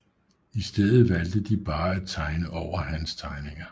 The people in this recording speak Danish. I stedet valgte de bare at tegne over hans tegninger